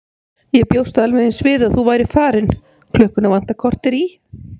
Ég bjóst alveg eins við að þú værir farin, klukkuna vantar korter í.